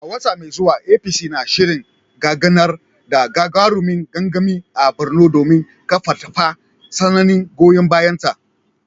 A wata mai zuwa APC na shirin gudanar da gagarumin gangami a Borno domin karfafa sansanin goyon bayanta.